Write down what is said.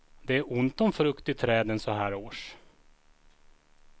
Det är ont om frukt i träden så här års.